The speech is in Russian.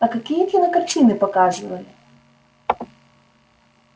а какие кинокартины показывали